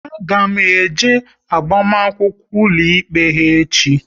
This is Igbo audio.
A ga m eje agbamakwụkwọ ụlọikpe ha echi